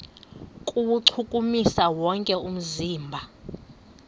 kuwuchukumisa wonke umzimba